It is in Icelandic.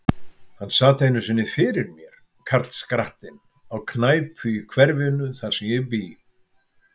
Hann sat einu sinni fyrir mér, karlskrattinn, á knæpu í hverfinu, þar sem ég bý.